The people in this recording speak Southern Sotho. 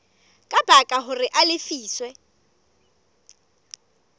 ka baka hore a lefiswe